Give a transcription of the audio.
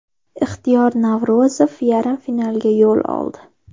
Ixtiyor Navro‘zov yarim finalga yo‘l oldi.